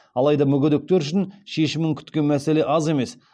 алайда мүгедектер үшін шешімін күткен мәселе аз емес